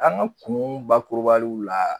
An ka kun bakurubaliw la